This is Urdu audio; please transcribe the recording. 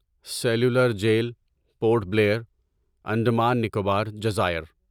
سیلولر جیل پورٹ بلیر، انڈمان و نکوبار جزائر